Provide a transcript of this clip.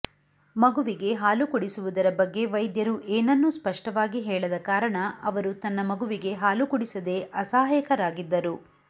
ಮಗುವಿಗೆ ಹಾಲು ಕುಡಿಸುವುದರ ಬಗ್ಗೆ ವೈದ್ಯರು ಏನನ್ನೂ ಸ್ಪಷ್ಟವಾಗಿ ಹೇಳದ ಕಾರಣ ಅವರು ತನ್ನ ಮಗುವಿಗೆ ಹಾಲು ಕುಡಿಸದೇ ಅಸಹಾಯಕರಾಗಿದ್ದರು